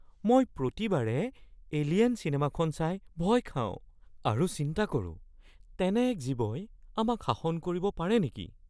মই প্ৰতিবাৰে "এলিয়েন" চিনেমাখন চাই ভয় খাওঁ আৰু চিন্তা কৰো তেনে এক জীৱই আমাক শাসন কৰিব পাৰে নেকি।